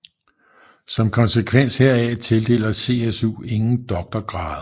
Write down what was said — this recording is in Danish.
Som konsekvens heraf tildeler CSU ikke doktorgrader